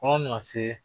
Kɔn nana se